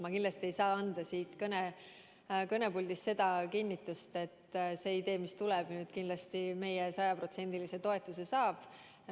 Ma kindlasti ei saa siit kõnepuldist anda kinnitust, et see idee, mis tuleb, meie sajaprotsendilise toetuse saab.